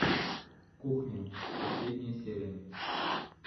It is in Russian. кухня последняя серия